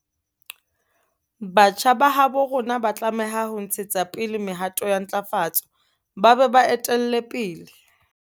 Batjha ba habo rona ba tlameha ho ntshetsa pele mehato ya ntlafatso ba be ba e etelle pele.